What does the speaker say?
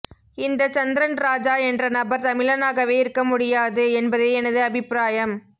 இந்தச் சந்ரன் ராஜா என்ற நபர் தமிழனாகவே இருக்க முடியாது என்பதே எனது அபிப்பிராயம்